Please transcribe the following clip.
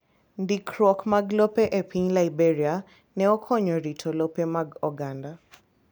Ndikruok mag lope e piny Liberia ne okonyo rito lope mag oganda